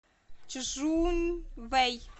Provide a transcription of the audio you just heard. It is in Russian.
чжунвэй